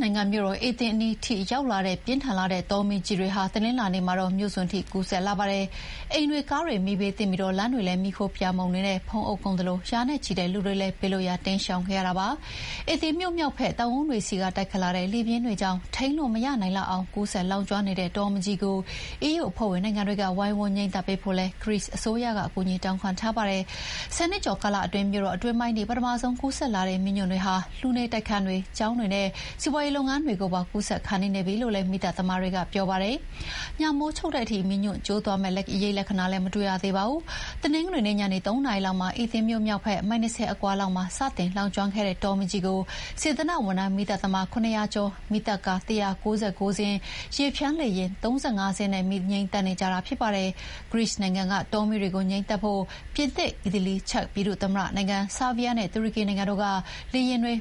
နိုင်ငံ၊ မြို့တော်အေသင်အနီးထိရောက်လာတဲ့ ပြင်းထန်လှတဲ့တောမီးကြီးတွေဟာ တနင်္လာနေ့မှာတော့ မြို့စွန်ထိ ကူးစက်လာပါတယ်။ အိမ်တွေ ကားတွေ မီးဘေးသင့်ပြီး လမ်းတွေလည်း မီးခိုးတွေ ပြာမှုန်တွေနဲ့ ဖုံးအုပ်ကုန်သလို ရာနဲ့ချီတဲ့လူတွေလည်း ဘေးလွတ်ရာတိမ်းရှောင်ခဲ့ရပါတယ်။ အေသင်မြို့ မြောက်ဘက် တောင်ကုန်းတွေဆီက တိုက်ခတ်လာတဲ့လေပြင်းတွေကြောင့် ထိန်းလို့မနိုင်လောက် အောင် ကူးစက်လောင်ကျွမ်းနေတဲ့တောမီးကြီးကို အီးယူအဖွဲ့ဝင်နိုင်ငံတွေက ဝိုင်းဝန်းငြိမ်းသတ်ပေးဖို့လည်း ဂရိ အစိုးရက အကူအညီတောင်းခံထားပါတယ်။ ဆယ်နှစ်ကျော်ကာလအတွင်း မြို့တော်အတွင်းပိုင်းထိ ပထမဆုံး ကူးစက်လာတဲ့ မီးညွန့်တွေဟာ လူနေတိုက်ခန်းတွေ၊ ကျောင်းတွေနဲ့ စီးပွါးရေးလုပ်ငန်းတွေကိုပါ ကူးစက်ခါနီးနေပြီလို့လည်း မီးသတ်သမားတွေက ပြောပါတယ်။ ညမိုးချုပ်တဲ့အထိ မီးညွန့်ကျိုးသွားမယ့် အရိပ်လက္ခဏာတွေလည်း မတွေ့ရပါဘူး။ တနင်္ဂနွေနေ့ ညနေ ၃ နာရီ လောက်မှာ အေသင်မြို့ မြောက်ဖက် မိုင် ၂၀ အကွာလောက်မှာ စတင်လောင်ကျွမ်းခဲ့တဲ့ တောမီးကြီးကို စေတနာ့ဝန်ထမ်း မီးသတ်သမား ၇၀၀ ကျော်၊ မီးသတ်ကား ၁၉၉ စင်းနဲ့ ရေဖျန်း လေယာဥ် ၃၅ စင်းတို့ကိုသုံးပြီး မီးငြိမ်းသတ်နေကြတာဖြစ်ပါတယ်။ ဂရိနိုင်ငံက တောမီးတွေကို ငြိမ်းသတ်ဖို့ ပြင်သစ်၊ အီတလီ၊ ချက်ပြည်သူ့ သမ္မတနိုင်ငံ၊ ဆားဗီးယားနဲ့ တူရကီနိုင်ငံတို့က လေယာဥ်တွေ